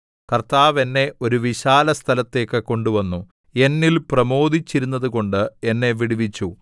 കർത്താവ് എന്നെ ഒരു വിശാലസ്ഥലത്തേക്ക് കൊണ്ടുവന്നു എന്നിൽ പ്രമോദിച്ചിരുന്നതുകൊണ്ട് എന്നെ വിടുവിച്ചു